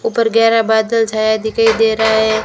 ऊपर गहरा बादल छाया दिखाई दे रहा है।